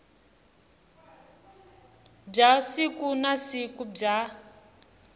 bya siku na siku bya